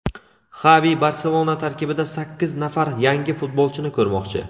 Xavi "Barselona" tarkibida sakkiz nafar yangi futbolchini ko‘rmoqchi.